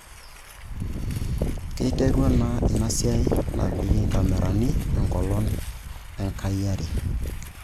Keiterua ina siai napiki inkamerani enkolong' ekasi are